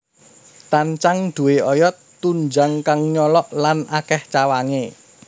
Tancang duwé oyot tunjang kang nyolok lan akèh cawangé